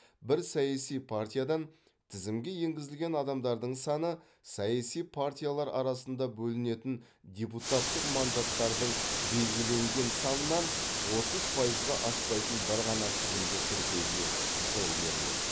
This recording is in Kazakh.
бір саяси партиядан тізімге енгізілген адамдардың саны саяси партиялар арасында бөлінетін депутаттық мандаттардың белгіленген санынан отыз пайызға аспайтын бір ғана тізімді тіркеуге жол беріледі